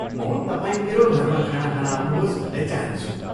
म तपाईँ मेरो घरमा खाना खान आउनुहोस् भन्ने चाहन्छु।